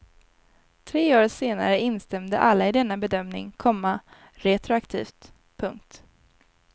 Tre år senare instämde alla i denna bedömning, komma retroaktivt. punkt